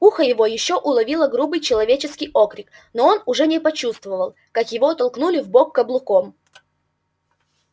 ухо его ещё уловило грубый человеческий окрик но он уже не почувствовал как его толкнули в бок каблуком